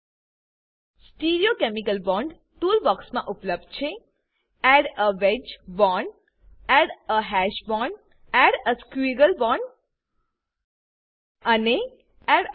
stereochemical stereochemical bond tool box મા ઉપલબ્ધ છે add a wedge bond add a wedged bond add a hash bond add a hash bond add a squiggle bond add a squiggle bond અને add a four bond